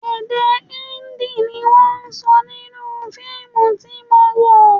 Èdè Hindi ni wọ́n sọ nínú fíìmù tí mo wò